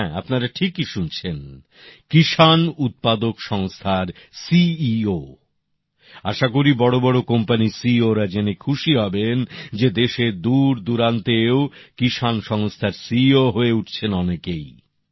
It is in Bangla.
হ্যাঁ আপনারা ঠিকই শুনছেন কৃষিপণ্য উৎপাদক সংস্থার সিইও আশা করি বড়ো বড়ো কোম্পানির সিইওরা জেনে খুশি হবেন যে দেশের দূর দূরান্তেও কিষাণ সংস্থার সিইও হয়ে উঠছেন অনেকেই